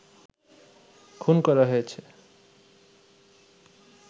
খুন করা হয়েছে